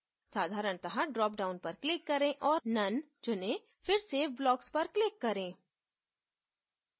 साधारणत: dropdown पर click करें औऱ none चुनें फिर save blocks पर click करें